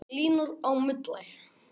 En það hnussaði í lækninum